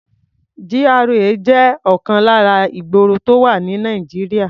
GRA jẹ́ ọ̀kan lára ìgboro tó wà ní Nàìjíríà.